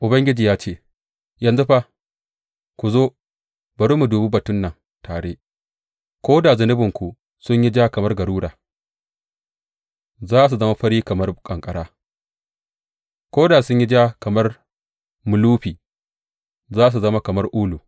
Ubangiji ya ce, Yanzu fa ku zo, bari mu dubi batun nan tare, Ko da zunubanku sun yi ja kamar garura, za su zama fari kamar ƙanƙara; ko da sun yi ja kamar mulufi, za su zama kamar ulu.